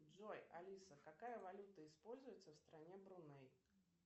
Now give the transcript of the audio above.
джой алиса какая валюта используется в стране бруней